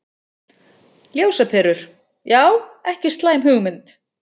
Ljósaperur, já ekki slæm hugmynd.